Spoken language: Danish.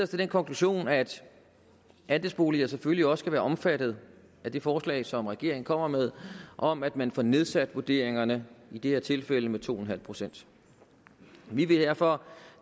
til den konklusion at andelsboliger selvfølgelig også skal være omfattet af det forslag som regeringen kommer med om at man får nedsat vurderingerne i det her tilfælde med to en halv procent vi vil derfor